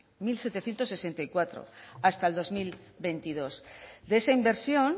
mil setecientos sesenta y cuatro hasta el dos mil veintidós de esa inversión